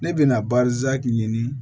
Ne bɛna ɲini